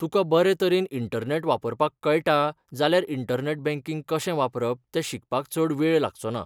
तुका बरे तरेन इंटरनॅट वापरपाक कळटा जाल्यार इंटरनॅट बँकिंग कशें वापरप तें शिकपाक चड वेळ लागचो ना.